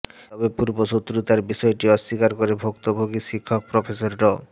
তবে পূর্বশত্রুতার বিষয়টি অস্বীকার করে ভুক্তভোগী শিক্ষক প্রফেসর ড